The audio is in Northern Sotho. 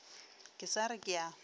ke sa re ke a